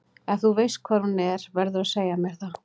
Ef þú veist hvar hún er verðurðu að segja mér það.